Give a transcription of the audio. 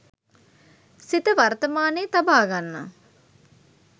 සිත වර්තමානයේ තබාගන්න